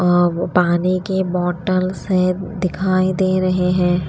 और पानी के बॉटल्स है दिखाई दे रहे हैं।